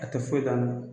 A tɛ foyi dɔn a ma